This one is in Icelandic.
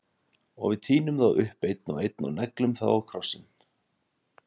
Og við tínum þá upp, einn og einn- og neglum þá á krossinn.